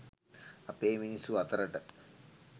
අපේ මිනිස්සු අතරට.